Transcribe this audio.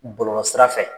Bɔlɔlɔ sira fɛ